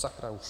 Sakra už.